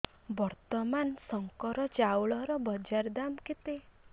ବର୍ତ୍ତମାନ ଶଙ୍କର ଚାଉଳର ବଜାର ଦାମ୍ କେତେ